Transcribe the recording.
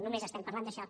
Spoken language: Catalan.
només estem parlant d’això